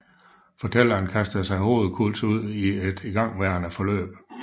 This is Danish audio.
Fortælleren kaster sig hovedkulds ud i et igangværende forløb